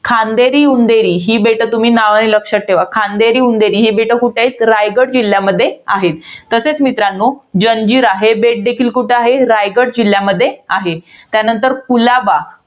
खांदेरी, उंदेरी. ही बेटं तुम्ही नावाने लक्षात ठेवा. खांदेरी, उंदेरी ही बेटं कुठे आहेत? रायगड जिल्ह्यामध्ये आहेत. तसेच मित्रांनो, जंजिरा हे बेट देखील कुठं आहे? रायगड जिल्ह्यामध्ये आहे. त्यानंतर कुलाबा.